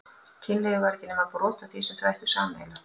Kynlífið væri ekki nema brot af því sem þau ættu sameiginlegt.